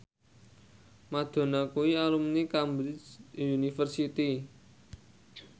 Madonna kuwi alumni Cambridge University